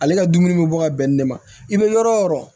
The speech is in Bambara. Ale ka dumuni bɛ bɔ ka bɛn ni de ma i bɛ yɔrɔ o yɔrɔ